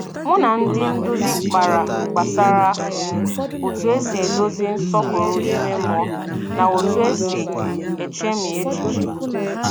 Mụ na ndị nduzi kpara gbasara otu esi edozi nsọpụrụ ime mmụọ na otu esi echemi echiche